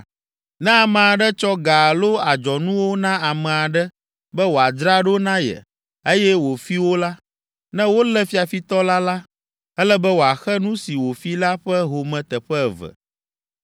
“Ne ame aɖe tsɔ ga alo adzɔnuwo na ame aɖe be wòadzra ɖo na ye eye wofi wo la, ne wolé fiafitɔ la la, ele be wòaxe nu si wòfi la ƒe home teƒe eve.